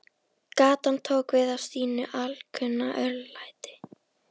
Gatan tók við af sínu alkunna örlæti.